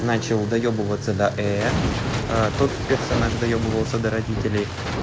начал доёбываться до тот персонаж доёбывался до родителей